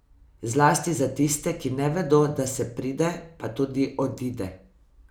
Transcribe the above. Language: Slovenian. Zlasti za tiste, ki ne vedo, da se pride, pa tudi odide.